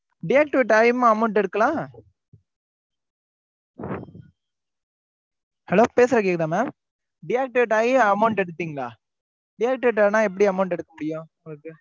deactivate ஆயுமா amount எடுக்கலாம். hello பேசுற கேக்குதா mam deactivate ஆயும் amount எடுத்திட்டீங்களா? deactivate ஆனா, எப்படி amount எடுக்க முடியும்?